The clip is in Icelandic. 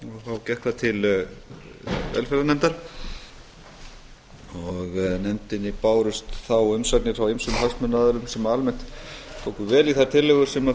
og þá gekk það til velferðarnefndar og nefndinni bárust þá umsagnir frá ýmsum hagsmunaaðilum sem almennt tóku vel í þær tillögur sem